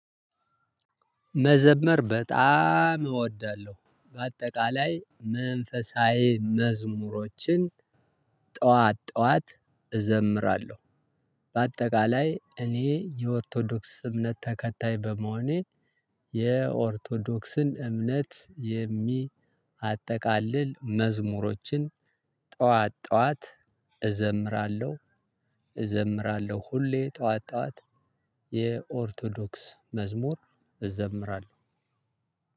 መዘመር በጣም እወዳለሁ በአጠቃላይ መንፈሳዊ መዝሙሮችን ጠዋት ጠዋት እዘምራለሁ። በአጠቃላይ እኔ የኦርቶዶክስ እምነት ተከታይ በመሆኔ። የኦርቶዶክስን እምነት የሚያጠቃልል መዝሙሮችን ጠዋት ጠዋት እዘምራለሁ። እዘምራለሁ ሁሌ ጠዋት ጠዋት የኦርቶዶክስ መዝሙር እዘምራለሁ።